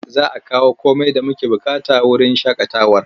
Za a kawo komai da muke buƙata wurin shaƙatawar.